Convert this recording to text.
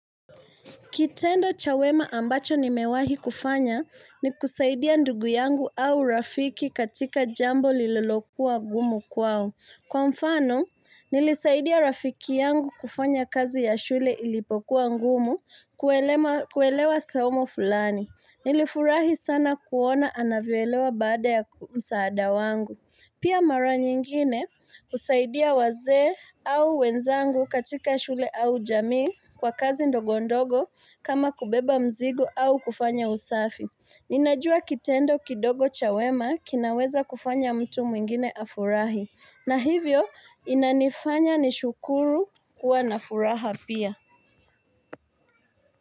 Kitendo cha wema ambacho nimewahi kufanya ni kusaidia ndugu yangu au rafiki katika jambo lililokuwa gumu kwao. Kwa mfano, nilisaidia rafiki yangu kufanya kazi ya shule ilipokuwa ngumu kuelewa somo fulani. Nilifurahi sana kuona anavyoelewa baada ya msaada wangu. Pia mara nyingine husaidia wazee au wenzangu katika shule au jamii kwa kazi ndogo ndogo kama kubeba mzigo au kufanya usafi. Ninajua kitendo kidogo cha wema kinaweza kufanya mtu mwingine afurahi. Na hivyo inanifanya nishukuru kuwa na furaha pia.